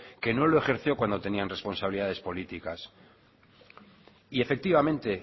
que no lo ejerció cuando tenían responsabilidades políticas y efectivamente